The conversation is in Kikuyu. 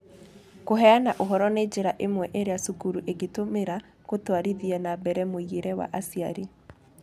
Kũheana ũhoro nĩ njĩra ĩmwe ĩrĩa cukuru ingĩtũmĩra gũtwarithia na mbere mũingĩre wa aciari.